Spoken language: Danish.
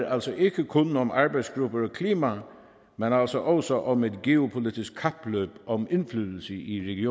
altså ikke kun om arbejdsgrupper og klima men også også om et geopolitisk kapløb om indflydelse i